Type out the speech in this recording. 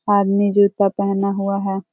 आदमी जूता पहना हुआ है।